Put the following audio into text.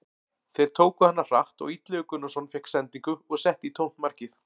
Þeir tóku hana hratt og Illugi Gunnarsson fékk sendingu og setti í tómt markið.